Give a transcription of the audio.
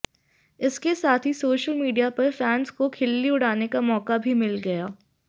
इसके साथ ही सोशल मीडिया पर फैंस को खिल्ली उड़ाने का मौका भी मिल गया